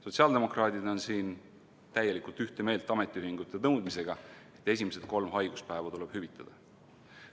Sotsiaaldemokraadid on siin täielikult ühte meelt ametiühingute nõudmisega: esimesed kolm haiguspäeva tuleb hüvitada.